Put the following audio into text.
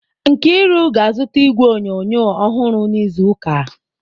Nkiru ga-azụta igwe onyonyo ọhụrụ n'izu ụka.